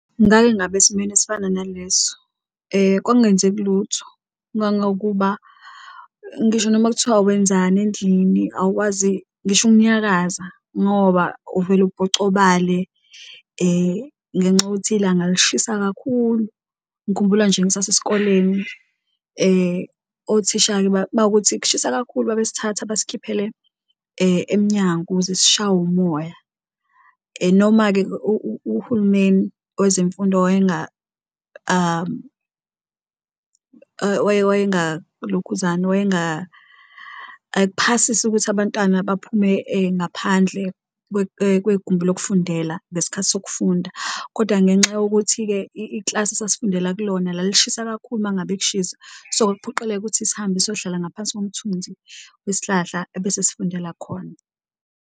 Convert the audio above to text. Ngake ngaba esimeni esifana naleso kwakungenzeki lutho ngangokuba ngisho noma kuthiwa wenzani endlini, awukwazi ngisho ukunyakaza ngoba uvele ubhocobale ngenxa yokuthi ilanga lishisa kakhulu. Ngikhumbula nje ngisase sikoleni othisha-ke bakuthi kushisa kakhulu babesithatha basikhiphele emnyango ukuze sishawe umoya, noma-ke uhulumeni wezemfundo lokhuzani ayikuphasisi ukuthi abantwana baphume ngaphandle kwegumbi lokufundela ngesikhathi sokufunda. Kodwa ngenxa yokuthi-ke, iklasi esasifundela kulona lalishisa kakhulu uma ngabe kushisa so, kwakuphoqeleka ukuthi sihambe siyohlala ngaphansi zomthunzi wesihlahla ebese sifundela khona.